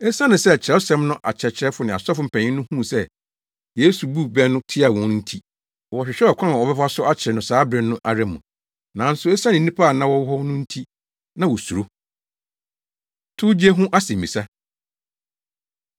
Esiane sɛ Kyerɛwsɛm no akyerɛkyerɛfo ne asɔfo mpanyin no huu se Yesu buu bɛ no tiaa wɔn nti wɔhwehwɛɛ ɔkwan a wɔbɛfa so akyere no saa bere no ara mu, nanso esiane nnipa a na wɔwɔ hɔ no nti na wosuro. Towgye Ho Asɛmmisa